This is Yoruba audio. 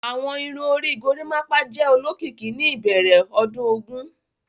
Awọn irun ori Gorimapa jẹ olokiki ni ibẹrẹ ọdun ogun.